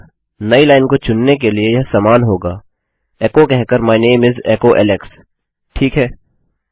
अतः नई लाइन को चुनने के लिए यह समान होगा एकोकहकर माय नामे इस एकोecho एलेक्स ठीक है